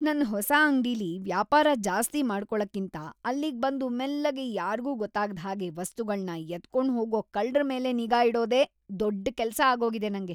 ನನ್ ಹೊಸ ಅಂಗ್ಡಿಲಿ ವ್ಯಾಪಾರ ಜಾಸ್ತಿ ಮಾಡ್ಕೊಳಕ್ಕಿಂತ ಅಲ್ಲಿಗ್ ಬಂದು ಮೆಲ್ಲಗೆ ಯಾರ್ಗೂ ಗೊತ್ತಾಗ್ದ್‌ ಹಾಗೆ ವಸ್ತುಗಳ್ನ ಎತ್ಕೊಂಡ್‌ಹೋಗೋ ಕಳ್ರ ಮೇಲೆ ನಿಗಾ ಇಡೋದೇ ದೊಡ್‌ ಕೆಲ್ಸ ಆಗೋಗಿದೆ ನಂಗೆ.